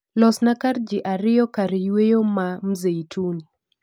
Losna kar ji ariyo karyweyo ma mzeituni